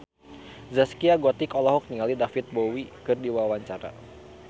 Zaskia Gotik olohok ningali David Bowie keur diwawancara